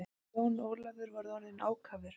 Jón Ólafur var orðinn ákafur.